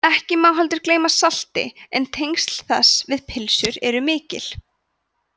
ekki má heldur gleyma salti en tengsl þess við pylsur eru mikil